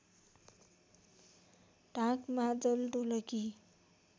ढाँक मादल ढोलकी